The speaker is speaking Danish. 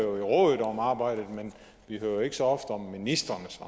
råd om arbejdet men vi hører ikke så ofte om ministrenes